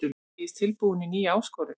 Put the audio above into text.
Hann segist tilbúinn í nýja áskorun.